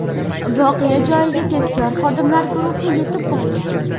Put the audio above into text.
Voqea joyiga tezkor xodimlar guruhi yetib borgan.